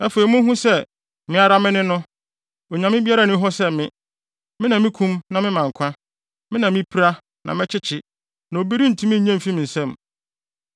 “Afei, munhu sɛ, me ara me ne no! Onyame biara nni hɔ sɛ me! Me na mikum na mema nkwa: Me na mipira, na mɛkyekye, na obi rentumi nnye mfi me nsam.